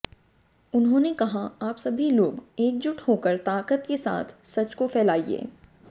उन्होंने कहा आप सभी लोग एकजुट होकर ताकत के साथ सच को फैलाइये